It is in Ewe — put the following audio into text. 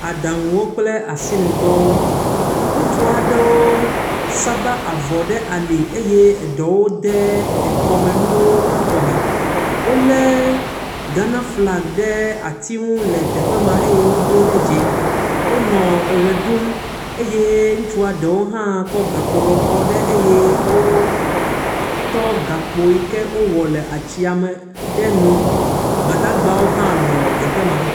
Aɖaŋuwo kple asinu dɔa aɖewo saba avɔwo ɖe ali eye eɖewo de ekɔmenuwo ɖe woƒe kɔme. Wo le Ghana flag ɖe atiŋu le teƒe maa eye wodoe ɖe dzi. Wonɔ ewɔ ɖum eye ŋutsua ɖewo hã kɔ gakpo lɔbɔ ɖe eye wokɔ gakpo yi ke wo wɔ le atsia me ɖe ŋu. Gbadagbawo hã nɔ teƒe ma.